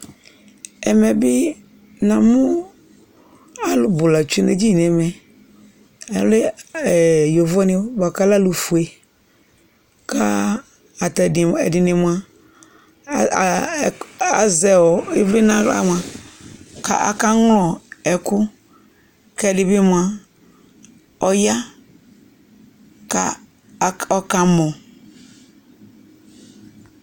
Ɛmɛ bɩ namʋ alʋ bʋ la tsue nʋ edini nʋ ɛmɛ, alɛ yovonɩ bʋa kʋ alɛ alʋfue kʋ ata ɛdɩ ɛdɩnɩ mʋa, A a a azɛ ɩvlɩ nʋ aɣla mʋa, kʋ akaŋlɔ ɛkʋ kʋ ɛdɩ bɩ mʋa, ɔya kʋ ɔkamɔ